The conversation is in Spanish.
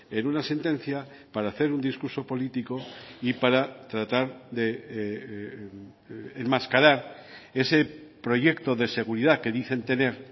en una sentencia para hacer un discurso político y para tratar de enmascarar ese proyecto de seguridad que dicen tener